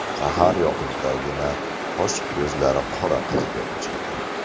Sahar yoqimtoygina, qosh-ko‘zlari qora qiz bo‘lib chiqdi.